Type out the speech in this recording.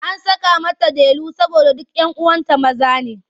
An saka mata Delu saboda duk 'yan uwanta maza ne.